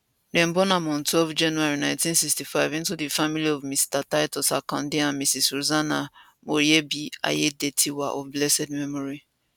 dem born am on twelve january 1965 into di family of mr titus akande and mrs rosanah moyebi aiyedatiwa of blessed memory